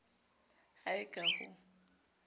ha e ka ha ho